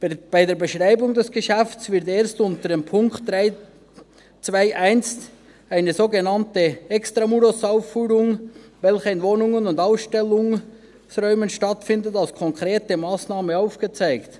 Bei der Beschreibung des Geschäfts werden erst unter Punkt 3.2.1 sogenannte Extra-murosAufführungen, die in Wohnungen und Ausstellungsräumen stattfinden, als konkrete Massnahmen aufgezeigt.